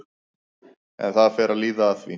En það fer að líða að því.